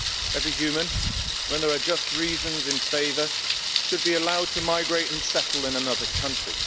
Every human, when there are just reasons in favour, should be allowed to migrate and settle in another country.